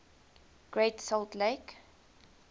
great salt lake